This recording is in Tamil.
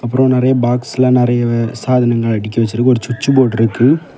அப்பறம் நெரிய பாக்ஸ்ல நெறைய சாதனங்கள் அடுக்கி வச்சுருக்கு ஒரு சுட்ச் போர்டு இருக்கு.